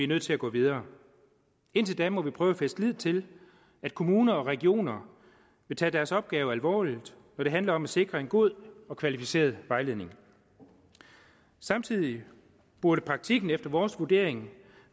nødt til at gå videre indtil da må vi prøve at fæste lid til at kommuner og regioner vil tage deres opgave alvorligt når det handler om at sikre en god og kvalificeret vejledning samtidig burde praktikken efter vores vurdering